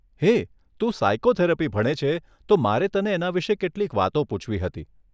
હેય, તું સાઇકોથેરપી ભણે છે તો મારે તને એના વિશે કેટલીક વાતો પૂછવી હતી.